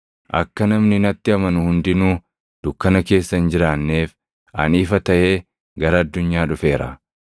Akka namni natti amanu hundinuu dukkana keessa hin jiraanneef ani ifa taʼee gara addunyaa dhufeera.